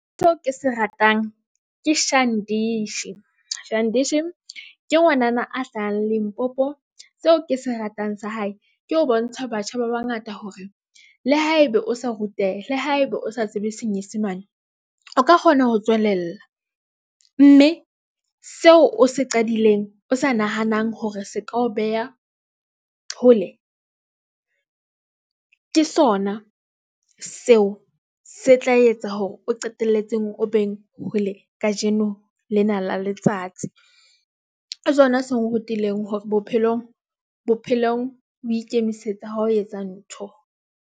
Seo ke se ratang ke Shandesh, Shandesh ke ngwanana a hlahang Limpopo. Seo ke se ratang sa hae ke ho bontsha batjha ba bangata hore le ha ebe o sa ruteha le ha ebe o sa tsebe Senyesemane, o ka kgona ho tswelella mme seo o se qadileng o sa nahanang hore se ka o beha hole ke sona seo se tla etsa hore o qetelletseng o beng hole. Kajeno lena la letsatsi sona se nrutileng hore bophelong o ikemisetsa ha o etsa ntho.